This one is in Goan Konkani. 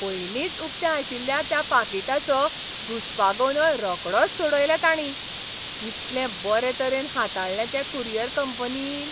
पयलींच उकतें आशिल्ल्या त्या पाकिटाचो घुसपागोंदळ रोखडोच सोडयलो तांणी. कितले बरे तरेन हाताळ्ळें तें कुरियर कंपनीन.